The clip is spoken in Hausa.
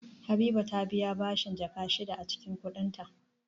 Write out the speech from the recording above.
Habiba ta biya bashin Jaka shida a cikin kudinta